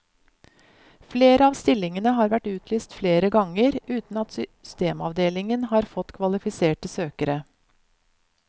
Flere av stillingene har vært utlyst flere ganger, uten at systemavdelingen har fått kvalifiserte søkere.